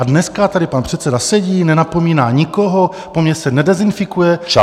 A dneska tady pan předseda sedí, nenapomíná nikoho ani se nedezinfikuje.